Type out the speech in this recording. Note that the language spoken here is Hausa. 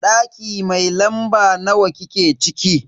Daki mai lamba nawa kike ciki?